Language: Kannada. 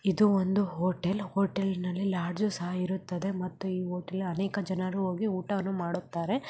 ಇದು ಒಂದು ಹೋಟೇಲ್‌ ಹೋಟೇಲ್‌ ನಲ್ಲಿ ಲಾಡ್ಜ್‌ಸ್‌ ಸಹಾ ಇರುತ್ತದೆ ಮತ್ತುಈ ಹೋಟೇಲ್‌ ಗೆ ಅನೇಕ ಜನರು ಹೋಗಿ ಊಟವನ್ನು ಮಾಡುತ್ತಾರೆ.